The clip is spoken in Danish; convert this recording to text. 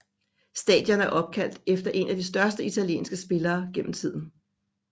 Stadion er opkaldt efter en af de største italienske spillere gennem tiden